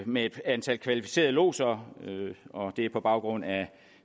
med et antal kvalificerede lodser det er på baggrund af en